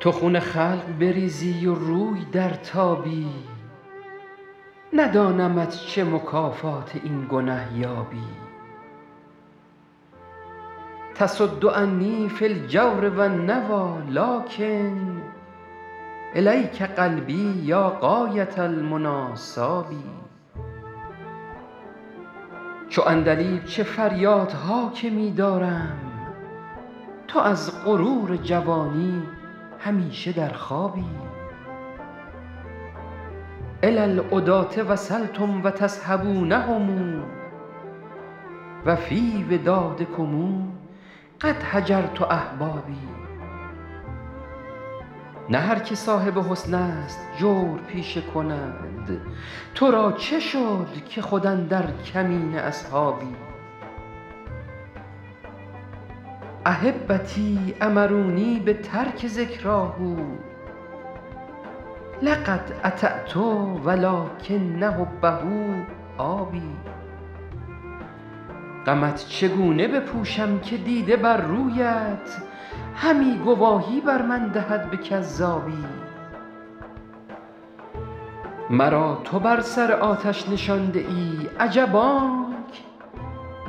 تو خون خلق بریزی و روی درتابی ندانمت چه مکافات این گنه یابی تصد عنی فی الجور و النویٰ لٰکن إلیک قلبی یا غایة المنیٰ صاب چو عندلیب چه فریادها که می دارم تو از غرور جوانی همیشه در خوابی إلی العداة وصلتم و تصحبونهم و فی ودادکم قد هجرت أحبابی نه هر که صاحب حسن است جور پیشه کند تو را چه شد که خود اندر کمین اصحابی أحبتی أمرونی بترک ذکراه لقد أطعت و لٰکن حبه آب غمت چگونه بپوشم که دیده بر رویت همی گواهی بر من دهد به کذابی مرا تو بر سر آتش نشانده ای عجب آنک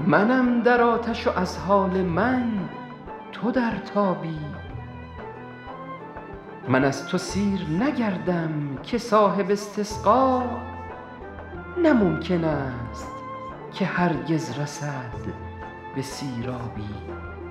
منم در آتش و از حال من تو در تابی من از تو سیر نگردم که صاحب استسقا نه ممکن است که هرگز رسد به سیرابی